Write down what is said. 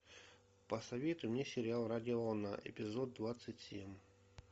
посоветуй мне сериал радиоволна эпизод двадцать семь